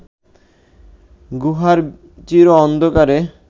গুহার চির অন্ধকারে